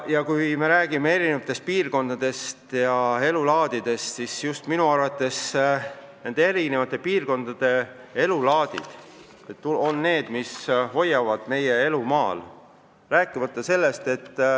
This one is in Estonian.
Ja kui me räägime Eesti piirkondadest ja elulaadidest, siis minu arvates just meie erinevate piirkondade elulaadid hoiavad elu maal.